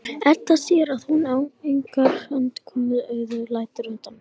Edda sér að hún á engrar undankomu auðið og lætur undan.